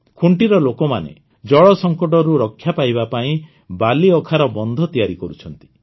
ଖୁଣ୍ଟିର ଲୋକମାନେ ଜଳ ସଂକଟରୁ ରକ୍ଷା ପାଇବା ପାଇଁ ବାଲିଅଖାର ବନ୍ଧ ତିଆରି କରୁଛନ୍ତି